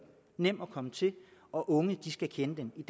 nem at komme til og unge skal kende den i